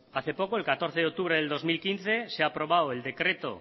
hace poco el catorce de octubre de dos mil quince se ha aprobado el decreto